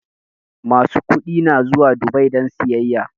Masu kuɗi na zuwa Dubai don sayyaya